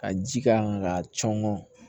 Ka ji k'a kan ka cɔngɔn